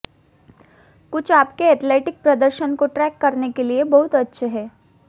कुछ आपके एथलेटिक प्रदर्शन को ट्रैक करने के लिए बहुत अच्छे हैं